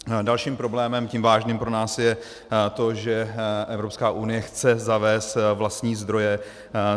Dalším problémem, tím vážným, pro nás je to, že Evropská unie chce zavést vlastní zdroje.